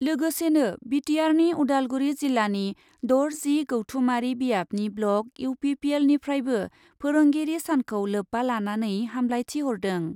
लोगोसेनो बिटिआरनि उदालगुरि जिल्लानि दर जि गौथुमारि बियाबनि ब्लक इउपिपिएलनिफ्रायबो फोरोंगिरि सानखौ लोब्बा लानानै हामलायथिहरदों ।